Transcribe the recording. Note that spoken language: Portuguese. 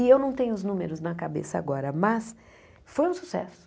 E eu não tenho os números na cabeça agora, mas foi um sucesso.